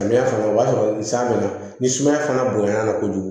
Samiya fana o b'a sɔrɔ san bɛna ni sumaya fana bonya kojugu